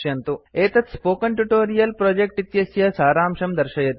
एतत् spoken tutorial project इत्यस्य सारांशं दर्शयति